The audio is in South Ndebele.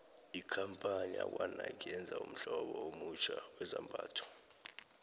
ikampani yakwanike yenze ummhlobo omutjha wezambhatho